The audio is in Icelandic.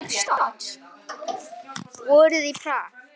Vorið í Prag